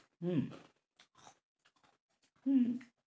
হম হম